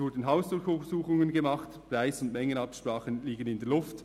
Es wurden Hausdurchsuchungen gemacht, Preis- und Mengenabsprachen liegen in der Luft;